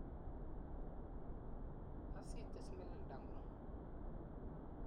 As itis melelda ng'ung'.